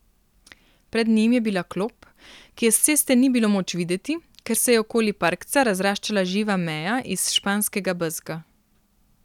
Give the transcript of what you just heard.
Pred njim je bila klop, ki je s ceste ni bilo moč videti, ker se je okoli parkca razraščala živa meja iz španskega bezga.